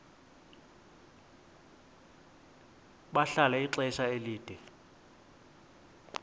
bahlala ixesha elide